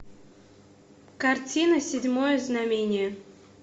картина седьмое знамение